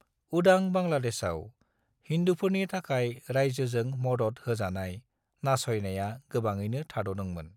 उदां बांग्लादेशाव, हिन्दुफोरनि थाखाय रायजोजों मदद होजानाय नासयनाया गोबाङैनो थाद'दोंमोन।